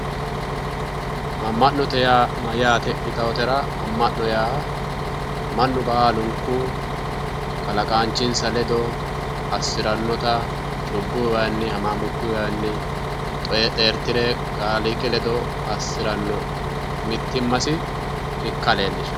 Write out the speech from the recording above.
Ama'note yaa mayaate yittanotera ama'no yaa Mani baalunku kalqaancinsa ledo assiranota cubbu waani hamaamukuwa xeeritirasi leelishano